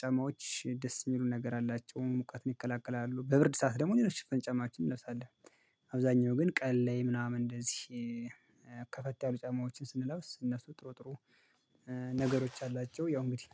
ጫማዎች ደስ እሚሉ ነገር አላቸው ሙቀትን ይከላከላሉ በብርድ ሰዓት ደግሞ ሌሎችን ሽፍን ጫማዎችን እንለብሳለን። አብዛኛው ግን ቀን ላይ ምናምን እንደዚህ ከፈት ያሉ ጫማዎችን ስንለብስ እነሱ ጥሩ ጥሩ ነገሮች አላቸው ያው እንግዲህ